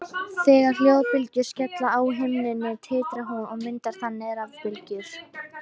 Þegar hljóðbylgjur skella á himnunni titrar hún og myndar þannig rafbylgjur.